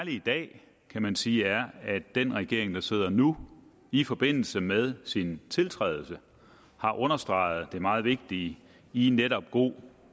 i dag kan man sige er at den regering der sidder nu i forbindelse med sin tiltrædelse har understreget det meget vigtige i netop god